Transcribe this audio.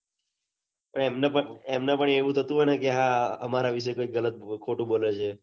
એમને પન એવું થતું હોય કે હા અમારા વિશે કિક ખોટું બોલે છે